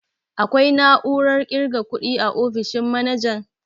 Akwai na'urar ƙirga kuɗi a ofishin manajan?